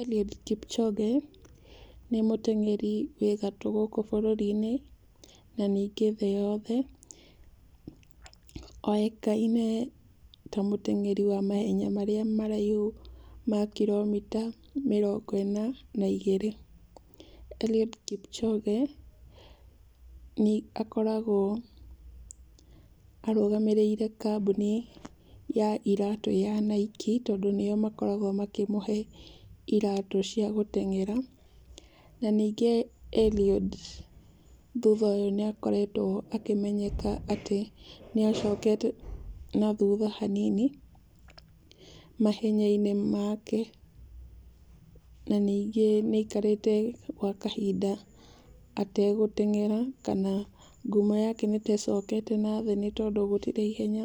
Eliud Kipchoge nĩ muteng'eri wĩ gatũ gũkũ bũrũri-inĩ, na ningĩ thĩ yothe. Oĩkaine ta mũteng'eri wa mahenya marĩa maraihu ma kiromita mĩrongo ĩna na igĩrĩ. Eliud Kipchoge nĩ akoragwo arũgamĩrĩire kambuni ya iratu ya Nike, tondũ nĩo makoragwo makĩmũhe iratu cia gũteng'era, na ningĩ Eliud thutha ũyũ nĩ akoretwo akĩmenyeka atĩ nĩacokete na thutha hanini mahenya-inĩ make. Na ningĩ nĩ aikarĩte gwa kahinda ategũteng'era, kana ngumo yake nĩ ta ĩcokete na thĩ tondũ gũtirĩ ihenya